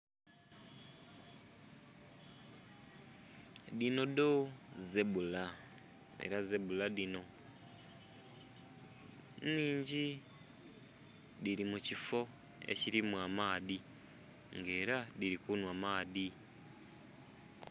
Dhino dho zebbula ela zebbula dhino nnhingi dhili mu kiffo ekilimu amaadhi nga ela dhili kunhwa maadhi.